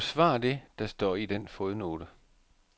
Forsvar det, der står i den fodnote.